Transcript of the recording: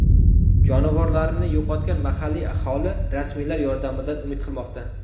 Jonivorlarini yo‘qotgan mahalliy aholi rasmiylar yordamidan umid qilmoqda.